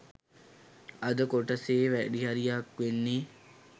අද කොටසෙ වැඩිහරියක් වෙන්නෙ